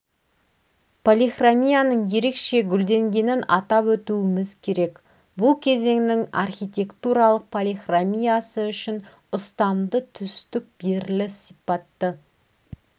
полихромиянық ерекше гүлденгенін атап өтуіміз керек бұл кезеңнің архитектуралық полихромиясы үшін ұстамды түстік беріліс сипатты